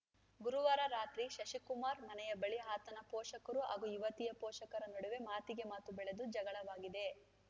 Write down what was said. ಗುರುವಾರ ರಾತ್ರಿ ಶಶಿಕುಮಾರ್‌ ಮನೆಯ ಬಳಿ ಆತನ ಪೋಷಕರು ಹಾಗು ಯುವತಿಯ ಪೋಷಕರ ನಡುವೆ ಮಾತಿಗೆ ಮಾತು ಬೆಳೆದು ಜಗಳವಾಗಿದೆ